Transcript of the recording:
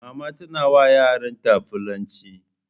Mama tana wa yaran ta fullanci